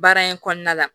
Baara in kɔnɔna la